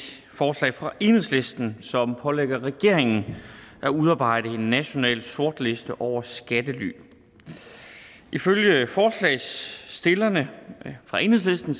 forslag fra enhedslisten som pålægger regeringen at udarbejde en national sortliste over skattely ifølge forslagsstillerne fra enhedslisten